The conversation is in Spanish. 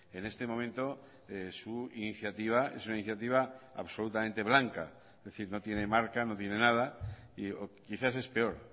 en este momento su iniciativa es una iniciativa absolutamente blanca es decir no tiene marca no tiene nada y quizás es peor